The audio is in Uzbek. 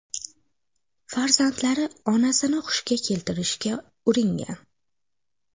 Farzandlari onasini hushiga keltirishga uringan.